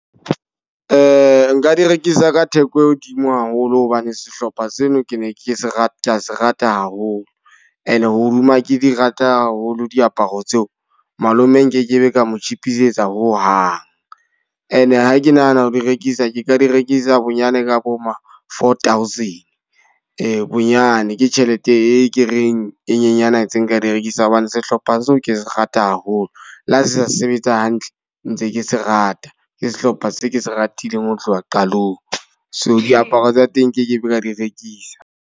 Nka di rekisa ka theko e hodimo haholo hobane sehlopha seno ke ne ke se rata, ka se rata haholo. E ne hoduma ke di rata haholo diaparo tseo, malome nkekebe ka mo tjhetjhisetsa ho hang. E ne e ha ke nahana ho di rekisa ke ka di rekisa bonyane ka bo ma four thousand, bonyane ke tjhelete e ke reng e nyenyana tse nka di rekisa hobane sehlopha phapang seo ke se rata haholo. Le ha se sa sebetsa hantle, ntse ke se rata. Ke sehlopha se ke se ratileng ho tloha qalong. So diaparo tsa teng nkekebe ka di rekisa.